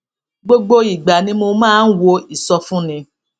gbogbo ìgbà ni mo máa ń wo ìsọfúnni